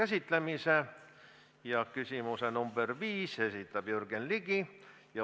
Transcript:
Aitäh!